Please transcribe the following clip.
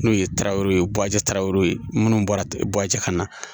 N'o ye tarawele tarawere ye minnu bɔra buwaji kana